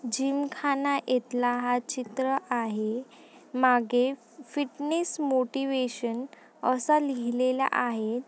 Gym ख़ाना इथला हा चित्र आहे मागे फिटनेस मोटिवेशन असा लिहिलेला आहे.